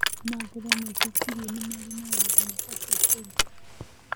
Kamangũra nĩetĩkirĩe nĩmarĩ na wĩra mabatie kũruta.